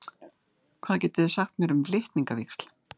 Hvað getið þið sagt mér um litningavíxl?